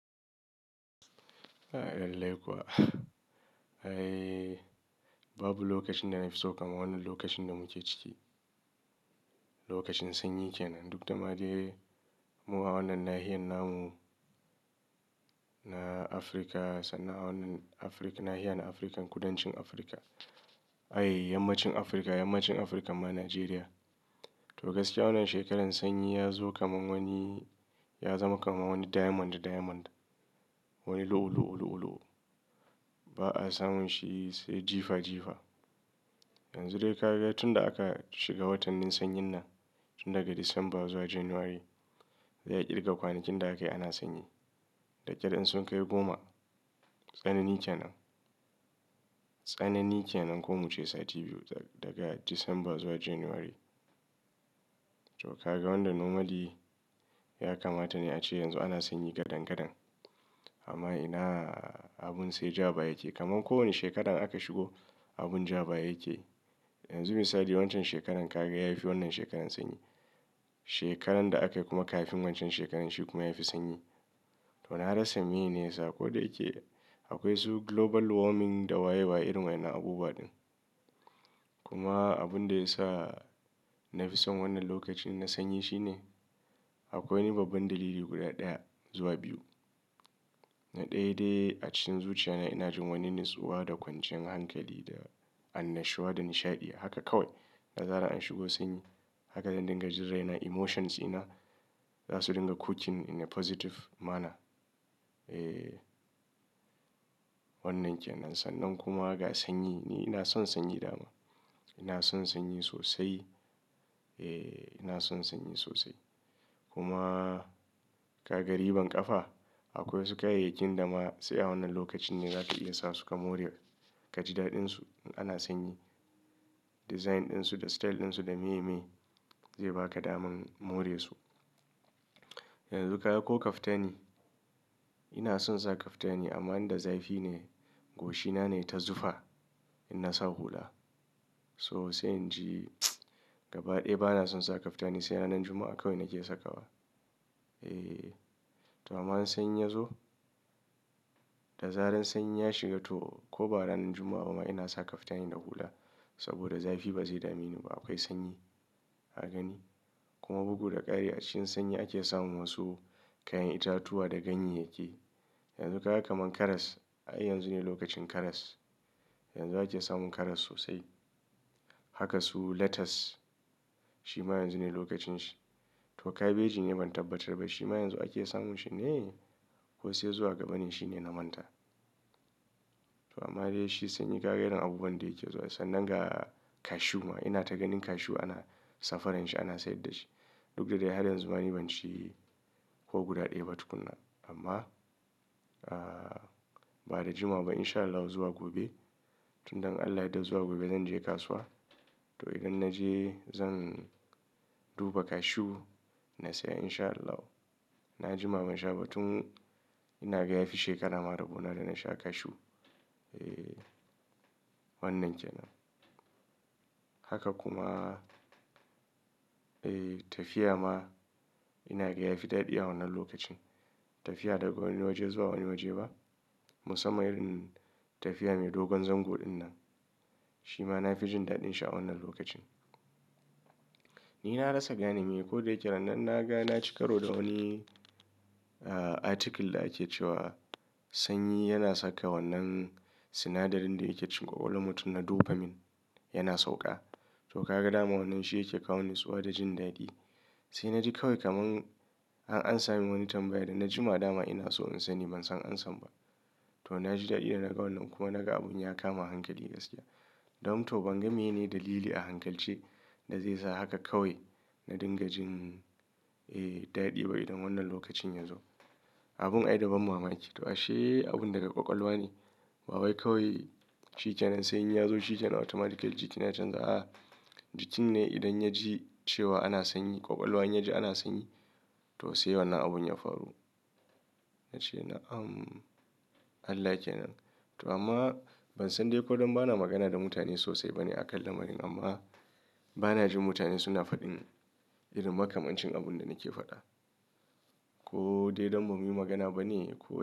A'a, lallai kuwa. Ai, babu lokacin da na fi so kamar wannan lokacin da muke ciki. Lokacin sanyi kenan. Duk da ma dai mu, a wannan nahiyar namu na Afirka, sannan a wannan afrika nahiyar Afirka, kudancin Afirka. Ai, yammacin Afirka, yammacin Afirka ma Najeriya. To gaskiya wannan shekarar sanyi ya zo kamar wani, ya zama kamar wani diamond diamond. Wani lu'ulu'ulu ulu'ulu. Ba a samun shi sai jifa jifa. Yanzu dai ka ga tun da aka shiga watannin sanyin nan, tun daga December zuwa January, ya ƙirga kwanakin da aka yi ana sanyi. Da ƙyar in sun kai goma. Tsanani kenan. Tsanani kenan ko mu ce sati biyu daga December zuwa January. To ka ga wanda normally ya kamata ne ace yanzu ana sanyi gadan gadan. Amma ina abun sai jaba yake. Kaman kowane shekarar aka shigo, abun jabaya yake. Yanzu misali waccan shekarar ka ga ya fi wannan shekarar sanyi. Shekarar da aka yi kuma kafin waccan shekarar shi kuma ya fi sanyi. To na rasa mene yene ya sa. Ko da yake akwai su global warming da wayewa irin wa'inan abubuwa ɗin. Kuma abun da ya sa na fi son wannan lokacin na sanyi shine akwai wani babban dalili guda ɗaya zuwa biyu. Na ɗaya dai a cikin zuciya na ina jin wani natsuwa da kwanciyar hankali da annashuwa da nishaɗi haka kawai. Da zarar an shigo sanyi haka zan dinga jin raina emotions ina za su dinga cooking in a positive manner. Eh, wannan kenan. Sannan kuma ga sanyi ni ina son sanyi dama. Ina son sanyi sosai. Eh, ina son sanyi sosai. Kuma ka ga riban ƙafa? Akwai su kayayyakin da ma sai a wannan lokacin ne zaka iya sa su ka more kajidaɗin su in ana sanyi. Design ɗin su da style ɗin su da meye meye zai ba ka daman more su. Yanzu ka ga ko kaftani. Ina son sa kaftani amma inda zafi ne goshina ne ta zufa in na sa hula. So sai in ji mts gaba ɗaya ba na son sa kaftani sai ranar Juma'a kawai nake sakawa. Eh, to amma in sanyi ya zo, da zarar sanyi ya shiga to ko ba ranar Juma'a ba ma ina sa kaftani da hula. Saboda zafi ba zai dami ni ba. Akwai sanyi ka gani. Kuma bugu da ƙari a cikin sanyi ake samun wasu kayan itatuwa da ganyya yaki. Yanzu ka ga kaman karas. Ai yanzu ne lokacin karas. Yanzu ake samun karas sosai. Haka su lettuce shi ma yanzu ne lokacin shi. To kabeji ne ban tabbatar ba shi ma yanzu ake samun shi ne? Ko sai zuwa gaba ne shine na manta. To amma dai shi sanyi ka ga irin abubuwan da yake zuwa. Sannan ga cashew ma. Ina ta ganin cashew ana safaran shi ana sayar da shi. Duk da dai har yanzu ma ni ban ci ko guda ɗaya ba tukuna. Amma, ah, ba da jimawa ba in sha Allah zuwa gobe. Tun dan in Allah ya yadda zuwa gobe zan je kasuwa. To idan na je zan duba cashew na saya in sha Allah. Na jima ban sha ba. Tun ina ga ya fi shekara ma rabo na da na sha cashew. Eh, wannan kenan. Haka kuma, eh tafiya ma ina ga ya fi daɗi a wannan lokacin. Tafiya daga wani waje zuwa wani waje ba. Musamman irin tafiya mai dogon zango ɗinnan. Shi ma na fi jin daɗin sha a wannan lokacin. Ni na rasa gane meye ko da yake ranan na ga na ci karo da wani, ah, article da ake cewa sanyi yana saka wannan sinadarin da yake cikin ƙwaƙwalwan mutum na dopamine yana sauƙa. To ka ga dama wannan shi yake kawo natsuwa da jin daɗi. Sai naji kawai kaman an amsa min wani tambaya da na jima dama ina so in sani ban san an san ba. To na ji daɗi da naga wannan kuma naga abun ya kama hankali gaskiya. Dan to ban gane mene dalili a hankalce da zai sa haka kawai na dinga jin, eh, daɗi ba idan wannan lokacin ya zo. Abun ai daban mama yake. To ashe abun daga ƙwaƙwalwa ne. Ba wai kawai shi kenan sanyi ya zo shi kenan automatically jikina ya canza. Ah, jikin ne idan ya ji cewa ana sanyi, ƙwaƙwalwan ya ji ana sanyi to sai wannan abun ya faru. Na ce na am, Allah kenan. To amma ban san dai ko don bana magana da mutane sosai bane aƙan lamarin amma bana jin mutane suna faɗin irin makamancin abun da nake faɗa. Ko dai don ba mu yi magana bane ko.